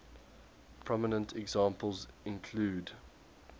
prominent examples include